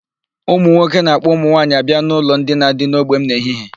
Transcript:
Ụmụ nwoke na-ạkpọ ụmụ nwaanyị abịa n'ụlọ ndina dị n'ogbe m n'ehihie.